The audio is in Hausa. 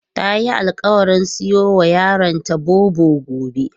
Tayi alƙawarin siyowa yaronta Bobo gobe.